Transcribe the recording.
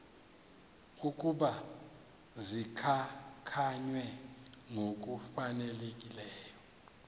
ukuba zikhankanywe ngokufanelekileyo